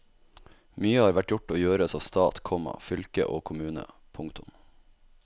Mye har vært gjort og gjøres av stat, komma fylke og kommune. punktum